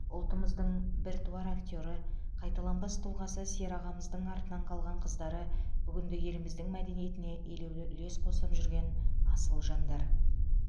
ұлтымыздың біртуар актері қайталанбас тұлғасы серағамыздың артынан қалған қыздары бүгінде еліміздің мәдениетіне елеулі үлес қосып жүрген асыл жандар